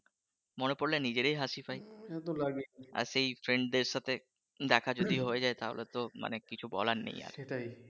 মনে পড়লে নিজের ই হাঁসি পায় আর সেই friend দের সাথে দেখা যদি হয়ে যায় তাহলে তো মানে কিছু বলার নেই আর